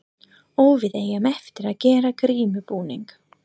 Og við eigum eftir að gera grímubúning.